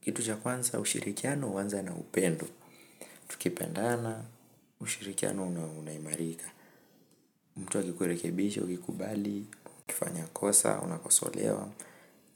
Kitu cha kwanza ushirikiano huanza na upendo, tukipendana ushirikiano unaimarika mtu akikurekebisha, ukikubali, ukifanya kosa unakosolewa,